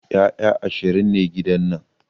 Ƴaƴa ashirin ne a gidan nan